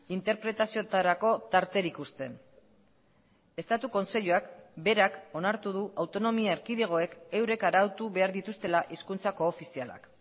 interpretazioetarako tarterik uzten estatu kontseiluak berak onartu du autonomia erkidegoek eurek arautu behar dituztela hizkuntza koofizialak